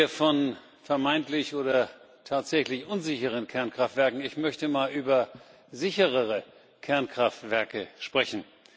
Wir sprechen hier von vermeintlich oder tatsächlich unsicheren Kernkraftwerken. Ich möchte mal über sicherere Kernkraftwerke sprechen.